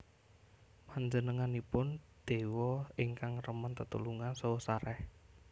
Panjenenganipun déwa ingkang remen tetulungan saha sarèh